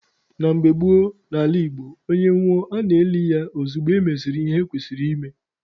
Na mgbe gboo n'ala Igbo, onye nwụọ a na-eli ya ozugbo emesịrị ihe ekwesịrị ime